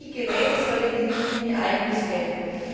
Für welche Geräte soll die Richtlinie eigentlich gelten?